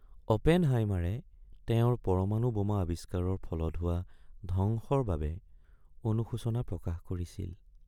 অপেনহাইমাৰে তেওঁৰ পৰমাণু বোমা আৱিষ্কাৰৰ ফলত হোৱা ধ্বংসৰ বাবে অনুশোচনা প্ৰকাশ কৰিছিল।